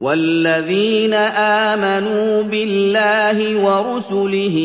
وَالَّذِينَ آمَنُوا بِاللَّهِ وَرُسُلِهِ